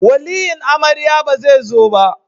Waliyin amarya ba zai zo ba